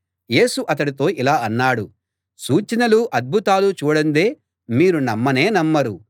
యేసు అతడితో ఇలా అన్నాడు సూచనలూ అద్భుతాలూ చూడందే మీరు నమ్మనే నమ్మరు